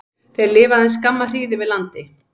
Þeir lifa aðeins skamma hríð yfir landi.